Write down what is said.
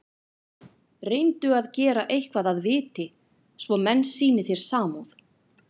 Reyndu að gera eitthvað að viti, svo menn sýni þér samúð.